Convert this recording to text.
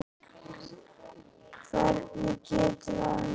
Hvernig getum við annað?